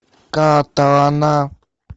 катана